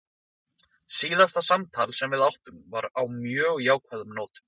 Síðasta samtal sem við áttum var á mjög jákvæðum nótum.